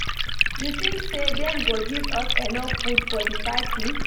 You tink say dem go give us enough food for di party?